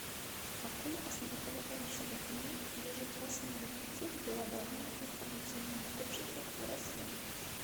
какой основополагающий документ лежит в основе пути к глобальному информационному обществу в россии